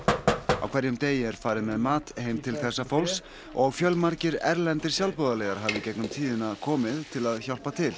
á hverjum degi er farið með mat heim til þessa fólks og fjölmargir erlendir sjálfboðaliðar hafa í gegnum tíðina komið til að hjálpa til